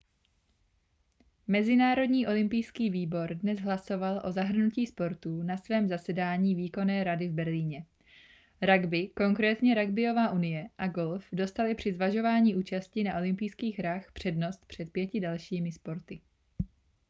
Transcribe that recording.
mezinárodní olympijský výbor dnes hlasoval o zahrnutí sportů na svém zasedání výkonné rady v berlíně ragby konkrétně ragbyová unie a golf dostaly při zvažování účasti na olympijských hrách přednost před pěti dalšími sporty